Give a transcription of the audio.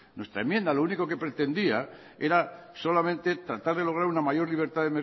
nuestra enmienda lo único que pretendía era solamente tratar de lograr una mayor libertad